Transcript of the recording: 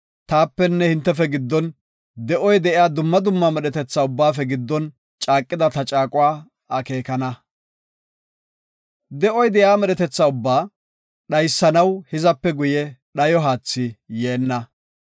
taapenne hintefe giddon, de7oy de7iya dumma dumma medhetetha ubbaafe giddon caaqida ta caaquwa akeekana. De7oy de7iya medhetetha ubbaa dhaysanaw hizape guye dhayo haathi yeenna.